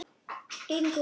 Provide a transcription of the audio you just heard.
gengur út frá.